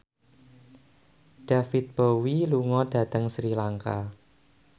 David Bowie lunga dhateng Sri Lanka